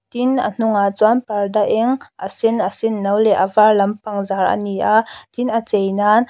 tin a hnungah chuan parda eng a sen a sen no leh a var lampang zar ani a tin a chei nan --